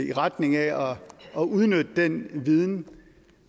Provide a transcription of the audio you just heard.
i retning af at udnytte den viden